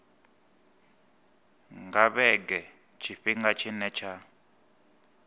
nga vhege tshifhinga tshine tsha